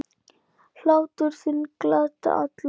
Hlátur þinn gladdi alla.